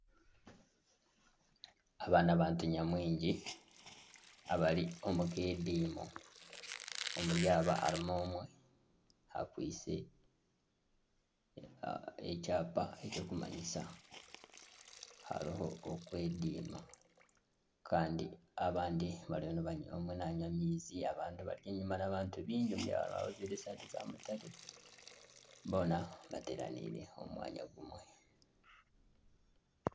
Aba n'abantu nyamwingi abari omukediimo, omuri aba harimu omwe akwaitse ekyapa ekirikumanyisa ngu hariho okwediima abamwe bariyo nibanywa amaizi abandi bari enyuma hariyo abantu baingi hariho abajwaire esaati za mutare boona bateraniire omu mwanya gumwe.